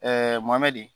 mɔmɛ di